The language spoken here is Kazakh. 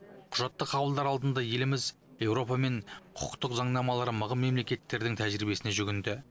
құжатты қабылдар алдында еліміз еуропа мен құқықтық заңнамалары мығым мемлекеттердің тәжірибесіне жүгінді